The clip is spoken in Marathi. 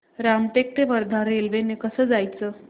रामटेक ते वर्धा रेल्वे ने कसं जायचं